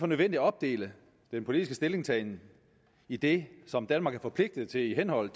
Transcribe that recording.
nødvendigt at opdele den politiske stillingtagen i det som danmark er forpligtet til i henhold